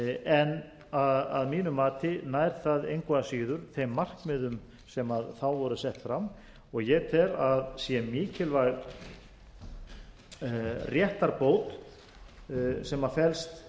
en að mínu mati nær það engu að síður þeim markmiðum sem þá voru sett fram og ég tel að sé mikilvæg réttarbót sem